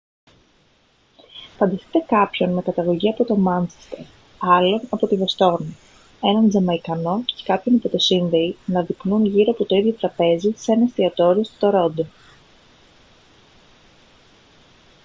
φανταστείτε κάποιον με καταγωγή από το μάντσεστερ άλλον από τη βοστώνη έναν τζαμαϊκανό και κάποιον από το σίδνεϊ να δειπνούν γύρω από το ίδιο τραπέζι σε ένα εστιατόριο στο τορόντο